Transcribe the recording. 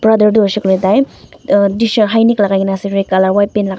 brother tu hoishey koilae tai tshirt high neck lakai kae na ase red colour white pant --